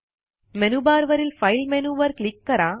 menu bar वरील file मेनूवर click करा